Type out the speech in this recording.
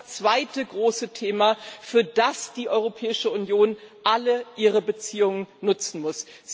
das ist das zweite große Thema, für das die Europäische Union alle ihre Beziehungen nutzen muss.